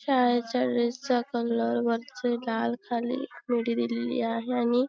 शाळेच्या ड्रेस चा कलर वरती डार्क खाली मीडी दिलेली आहे आणि--